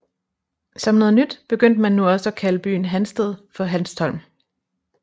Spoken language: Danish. Som noget nyt begyndte man nu også at kalde byen Hansted for Hanstholm